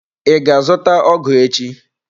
I ga azụta ọgụ echi?